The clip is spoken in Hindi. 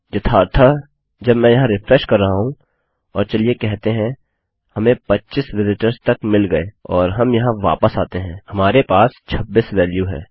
यथार्थःजब मैं यहाँ रिफ्रेश कर रहा हूँ और चलिए कहते हैंहमें 25 विजिटर्स तक मिल गये और हम यहाँ वापस आते हैंहमारे पास 26 वेल्यू है